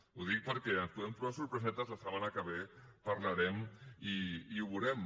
ho dic perquè ens podem trobar sorpresetes la setmana que ve parlarem i ho veurem